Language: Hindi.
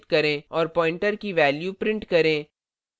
और pointer pointer की value print करें